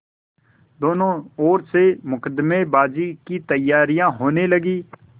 दोनों ओर से मुकदमेबाजी की तैयारियॉँ होने लगीं